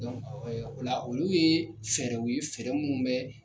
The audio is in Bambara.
ola olu yee fɛɛrɛw ye fɛrɛ munnu bɛ